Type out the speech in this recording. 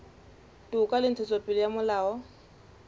toka le ntshetsopele ya molao